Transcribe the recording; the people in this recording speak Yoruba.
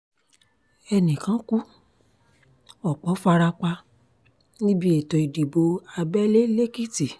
ẹnì kan kú ọ̀pọ̀ fara pa níbi ètò ìdìbò abẹ́lé lẹ́kìtì